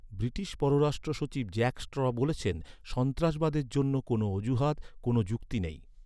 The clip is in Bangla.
ব্রিটিশ পররাষ্ট্র সচিব জ্যাক স্ট্র বলেছেন, "সন্ত্রাসবাদের জন্য কোনও অজুহাত, কোনও যুক্তি নেই"।